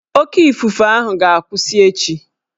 Oké ifufe ahụ ga-akwụsị echi